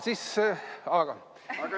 Selline mul kodus on juba.